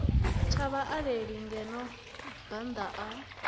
tsha vhaaleli ngeno bannda a